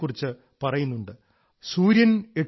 അഷ്ടൌ മാസാൻ നിപീതം യദ് ഭൂമ്യാഹ ച ഓദമയം വസു